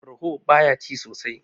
ruaho baya ci sosai